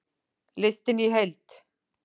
Listinn í heild